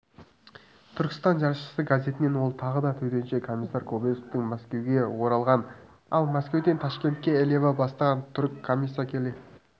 түркістан жаршысы газетінен ол тағы да төтенше комиссар кобозевтің мәскеуге оралғанын ал мәскеуден ташкентке элиава бастаған түрік комиссия келе